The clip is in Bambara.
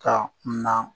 Ka na